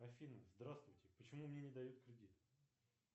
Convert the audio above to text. афина здравствуйте почему мне не дают кредит